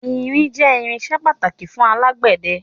Irin jẹ irinsẹ́ pàtàkì fún alágbẹ̀dẹ